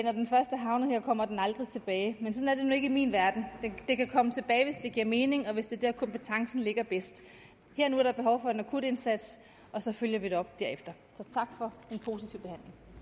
jeg kommer den aldrig tilbage men sådan er ikke i min verden den kan komme tilbage hvis det giver mening og hvis det er der kompetencen ligger bedst her og nu er der behov for en akutindsats og så følger vi det op derefter så